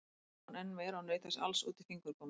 Svo hló hún enn meira og naut þessa alls út í fingurgóma.